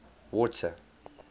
water